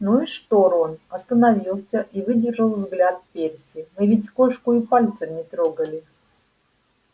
ну и что рон остановился и выдержал взгляд перси мы ведь кошку и пальцем не трогали